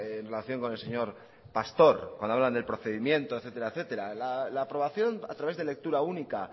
en relación con el señor pastor cuando hablan del procedimiento etcétera etcétera la aprobación a través de lectura única